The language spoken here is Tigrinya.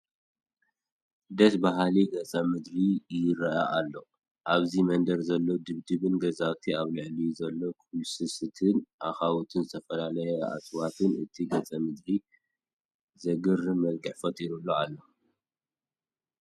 ደስ በሃሊ ገፀ ምድሪ ይርአ ኣሎ፡፡ ኣብዚ መንደር ዘለዉ ድብድብ ገዛውትን ኣብ ልዕሊኦም ዘሎ ኩልስስትን፣ ኣኻውሕን ዝተፈላለዩ እፅዋትን ነቲ ገፀ ምድሪ ዘግርም መልክዕ ፈጢሮምሉ ኣለዉ፡፡